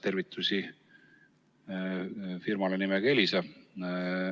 Tervitused firmale nimega Elisa.